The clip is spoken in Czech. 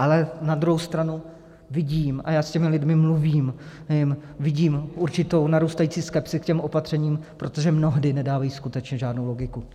Ale na druhou stranu vidím, a já s těmi lidmi mluvím, vidím určitou narůstající skepsi k těm opatřením, protože mnohdy nedávají skutečně žádnou logiku.